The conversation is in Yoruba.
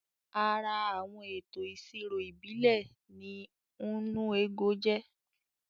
Ara Àwọn ètò ìṣirò ìbílẹ̀ ni "nnu ego "jẹ́